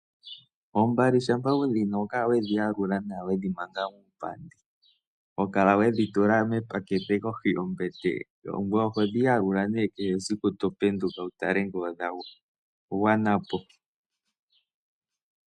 Oombali shampa wudhi na oho kala wedhi yalula nawa wedhi manga muupandi, hokala wedhi tula mepakete kohi yombete, ngoye oho dhi yalula nee kehe siku to penduka, wu tale ngele odha gwanapo.